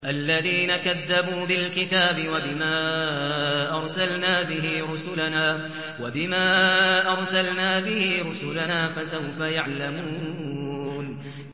الَّذِينَ كَذَّبُوا بِالْكِتَابِ وَبِمَا أَرْسَلْنَا بِهِ رُسُلَنَا ۖ فَسَوْفَ يَعْلَمُونَ